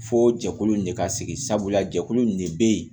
Fo jɛkulu in de ka sigi sabula jɛkulu in de bɛ yen